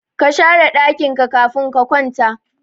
kashare dakin ka kafin ka kwata